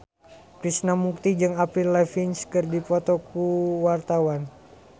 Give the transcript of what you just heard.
Krishna Mukti jeung Avril Lavigne keur dipoto ku wartawan